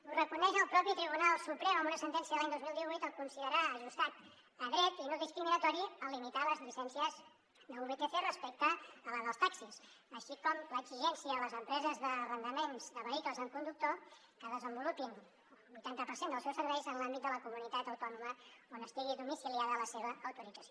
ho reconeix el propi tribunal suprem en una sentència de l’any dos mil divuit al considerar ajustat a dret i no discriminatori el limitar les llicències de vtc respecte a les dels taxis així com l’exigència a les empreses d’arrendaments de vehicles amb conductor que desenvolupin el vuitanta per cent dels seus serveis en l’àmbit de la comunitat autònoma on estigui domiciliada la seva autorització